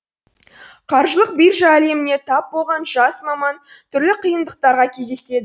қаржылық биржа әлеміне тап болған жас маман түрлі қиындықтарға кездеседі